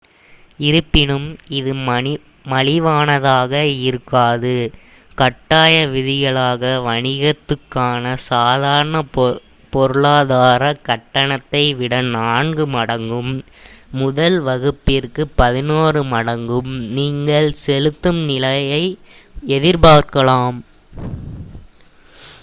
இருப்பினும் இது மலிவானதாக இருக்காது கட்டாய விதிகளாக வணிகத்துக்கான சாதாரண பொருளாதாரக் கட்டணத்தை விட நான்கு மடங்கும் முதல் வகுப்பிற்கு பதினொரு மடங்கும் நீங்கள் செலுத்தும் நிலையை எதிர்பார்க்கலாம்